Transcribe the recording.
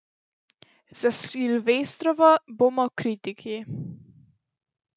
Za silvestrovo bomo kriti.